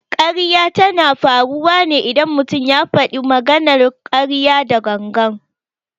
Ƙarya tana faruwa ne idan mutum ya faɗi maganar ƙarya da gangan.